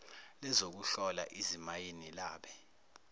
lezokuhlola izimayini labe